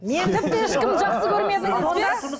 мен тіпті ешкімді жақсы көрмедіңіз бе